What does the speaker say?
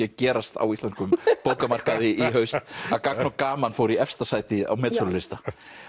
að gerast á íslenskum bókamarkaði í haust að gagn og gaman fór í efsta sæti á metsölulista